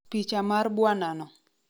Picha mar bwanano